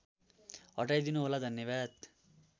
हटाइदिनु होला धन्यवाद